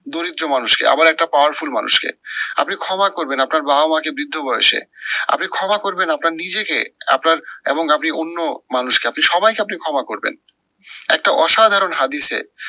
দরিদ্র মানুষকে আবার একটা powerful মানুষকে। আপনি ক্ষমা করবেন আপনার বাবা মা কে বৃদ্ধ বয়সে। আপনি ক্ষমা করবেন আপনার নিজেকে আপনার এবং আপনি অন্য মানুষকে। আপনি সবাইকে আপনি ক্ষমা করবেন। একটা অসাধারণ হাদিসে,